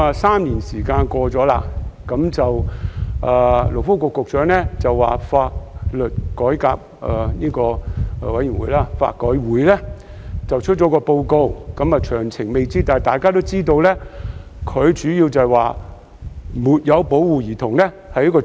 三年已經過去，勞工及福利局局長表示香港法律改革委員會即將發表一份報告，雖然未有詳情，但主要會提出"沒有保護兒童"屬於犯罪。